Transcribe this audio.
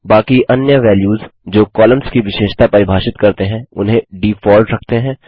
बाकी अन्य वैल्यूस जो कॉलम्स की विशेषता परिभाषित करते हैं उन्हें डीफॉल्ट रखते हैं